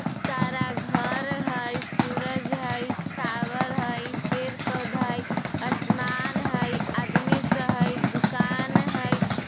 सारा घर है सूरज है टावर है पेड़-पौधा है आसमान है आदमी सब है दुकान है।